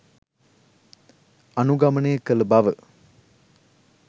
අනුගමනය කළ බව